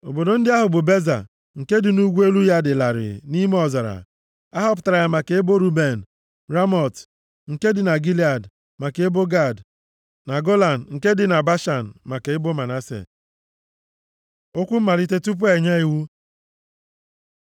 Obodo ndị ahụ bụ, Beza, nke dị nʼugwu elu ya dị larịị nʼime ọzara. A họpụtara ya maka ebo Ruben. Ramọt, nke dị na Gilead, maka ebo Gad, na Golan, nke dị na Bashan, maka ebo Manase. Okwu mmalite tupu enye iwu